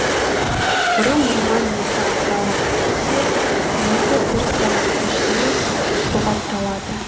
бұрын оған екі апта уақыт кетсе енді бір сағаттың ішінде бұғатталады